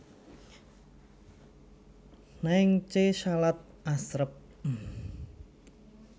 Naengchae salad asrep